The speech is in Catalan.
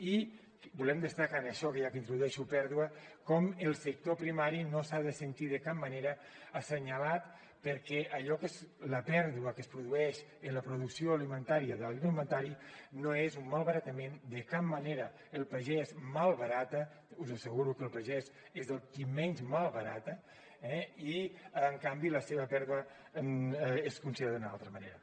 i volem destacar en això ja que introdueixo pèrdua com el sector primari no s’ha de sentir de cap manera assenyalat perquè allò que és la pèrdua que es produeix en la producció alimentària de l’agroalimentari no és un malbaratament de cap manera el pagès malbarata us asseguro que el pagès és el qui menys malbarata eh i en canvi la seva pèrdua és considerada d’una altra manera